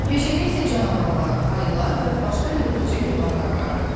Meşədə isə canavarlar, ayılar və başqa yırtıcı heyvanlar vardı.